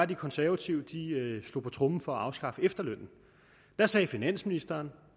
de konservative slog på tromme for at afskaffe efterlønnen da sagde finansministeren